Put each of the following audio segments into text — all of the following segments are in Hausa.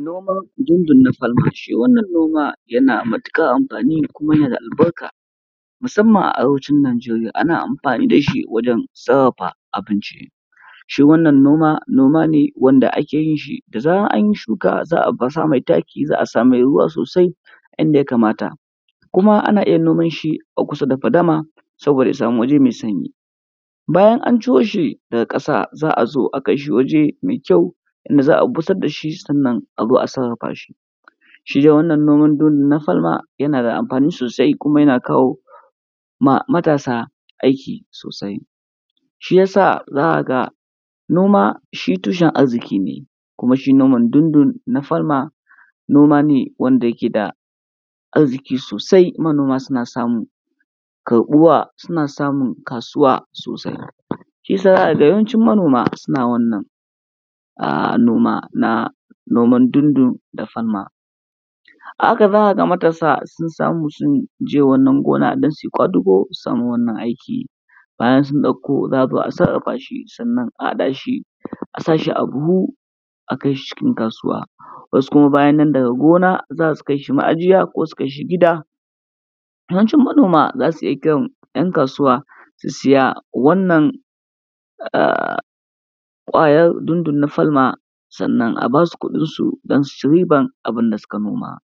Noman dundun-na-falma ce. Shi wannan noma yana da matuƙar amfani da albarka, musamman a arewacin Najeriya, ana amfani da shi wajen sarrafa abinci. Shi wannan noma, noma ne wanda ake yin shi, da zaran anyi shuka za a baza mai taki a sa mai ruwa sosai inda ya kamata. Kuma ana iya yin noman shi a kusa fadama saboda ya samu waje mai sanyi, bayan an ciro shi daga ƙasa za a zo a kai shi waje mai kyau wanda za a busar da shi sannan a zo a sarrafa shi. Shi dai wannan noman dundun-na-falma yana da amfani sosai kuma yana kawo ma matasa aiki sosai, shiyasa za ka ga shi noma shi tushen arziƙi ne, kuma shi noman dundun-na-falma noma ne wanda yake da arziƙi sosai manoma suna samu karɓuwa, suna samun kasuwa sosai, shiyasa za ka ga yawancin manoma na wannan noma na noman dundun-na-falma. A haka za ka ga matasa sun je wannan gona don su yi ƙwadugo su samu wannan aiki, bayan sun ɗauko za a zo a sarrafa shi sannan a haɗa shi a sa shi a buhu sannan a kai shi cikin kasuwa. Wasu kuma bayan nan daga gona za su kai shi ma'ajiya ko su kai shi gida. Yawancin manoma za su iya kiran 'yan kasuwa su siya wannan ƙwayar dundun-na-falma sannan a basu kuɗinsu don su ci riban abin da suka noma.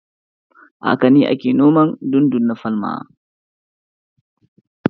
A haka ne ake noman dundun-na-falma.